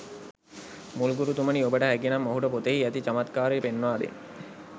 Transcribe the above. මුල් ගුරුතුමනි ඔබට හැකිනම් ඔහුට පොතෙහි ඇති චමත්කාරය පෙන්වා දෙන්න.